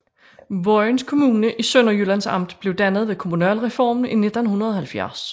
Vojens Kommune i Sønderjyllands Amt blev dannet ved kommunalreformen i 1970